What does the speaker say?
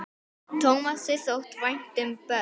spurði Magnús.